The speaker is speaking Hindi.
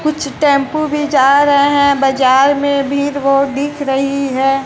कुछ टेंपो भी जा रहे है बाजार में भीड़ बहुत दिख रही है।